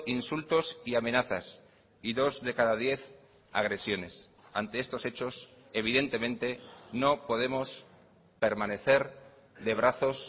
insultos y amenazas y dos de cada diez agresiones ante estos hechos evidentemente no podemos permanecer de brazos